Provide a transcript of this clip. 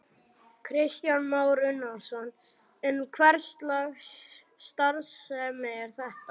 Kristján Már Unnarsson: En hverslags starfsemi er þetta?